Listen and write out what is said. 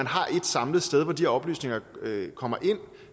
har ét samlet sted hvor de her oplysninger kommer ind